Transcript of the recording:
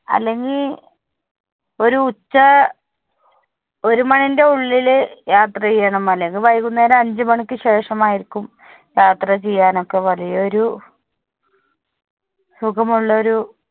അല്ലെങ്കിൽ ഒരു ഉച്ച ഒരു മണീന്റെ ഉള്ളിൽ യാത്ര ചെയ്യണം, അല്ലെങ്കിൽ വൈകുന്നേരം അഞ്ചു മണിക്ക് ശേഷം ആയിരിക്കും യാത്ര ചെയ്യാൻ ഒക്കെ വലിയൊരു സുഖം ഉള്ളൊരു